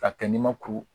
K'a kɛ ni ma kuru